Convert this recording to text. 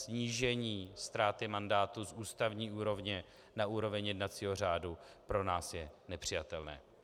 Snížení ztráty mandátu z ústavní úrovně na úroveň jednacího řádu pro nás je nepřijatelné.